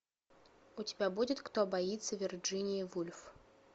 у тебя будет кто боится вирджинии вульф